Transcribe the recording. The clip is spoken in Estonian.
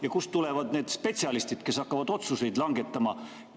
Ja kust tulevad need spetsialistid, kes hakkavad otsuseid langetama?